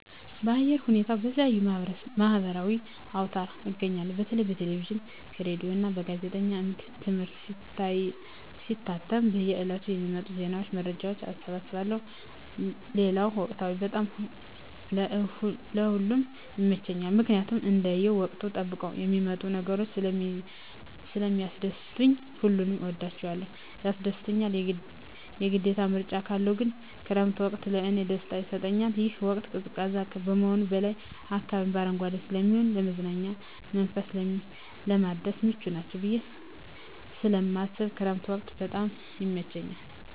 የአየር ሁኔታን በተለየዩ የማህበራዊ አውታር አገኛለሁ በተለይ በቴሌቪዥን ከሬዲዮ እና በጋዜጦች አምድ እትም ሲታተሙ በየ ዕለቱ ከሚወጡ ዜና መረጃዎች እሰበስባለሁ ሌለው ወቅቶች በጣም ለእ ሁሉም ይመቸኛል ምክኒያት እንደየ ወቅቱን ጠብቀው የሚመጡ ነገሮች ስለሚስደስቱኝ ሁሉንም እወዳቸዋለሁ ያስደስቱኛል የግዴታ ምርጫ ካለው ግን ክረምት ወቅት ለእኔ ደስታ ይሰጠኛል ይህ ወቅት ቀዝቃዛ ከመሆኑም በላይ አካባቢው በአረንጓዴ ስለሚሆን ለመዝናናት መንፈስን ለማደስ ምቹ ናቸው ብየ ስለማስብ የክረምት ወቅት በጣም ይመቸኛል።